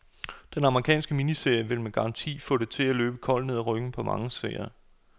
Den amerikanske miniserie vil med garanti få det til at løbe koldt ned ad ryggen på mange seere.